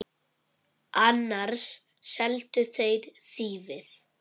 Annars seldu þeir þýfið.